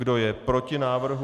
Kdo je proti návrhu?